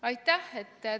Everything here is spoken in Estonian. Aitäh!